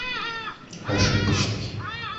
ошибочный